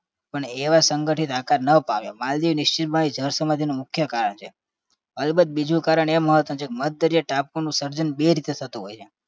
પણ એવા સંગઠિત આકાર ન પાવ્યા માલદીવની નીશચિતમય જળસમાધિનું મુખ્ય કારણ છે અલબત્ત બીજું કારણ એ મહત્વનું છે કે મધદરિયા ટાપુનું સર્જન બે રીતે થતું હોય છે